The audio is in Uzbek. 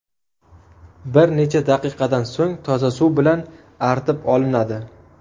Bir necha daqiqadan so‘ng toza suv bilan artib olinadi.